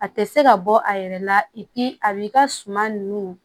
A tɛ se ka bɔ a yɛrɛ la a b'i ka suma ninnu